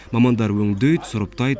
мамандар өңдейді сұрыптайды